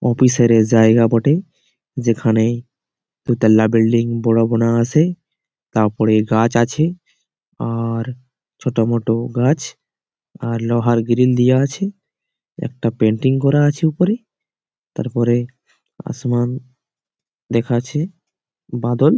অপিসারের জায়গা বটে। যেখানে দুতলা বিল্ডিং আছে তারপরে গাছ আছে আর ছোটমোটো গাছ আর লোহার গ্রিল দেওয়া আছে। একটা পেইন্টিং করা আছে উপরে। তারপরে আসমান দেখা আছে বাদল।